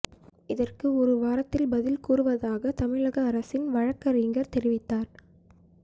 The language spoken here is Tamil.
இதற்கு ஒரு வாரத்தில் பதில் கூறுவதாக தமிழக அரசின் வழக்கறிஞர் தெரிவித்தார்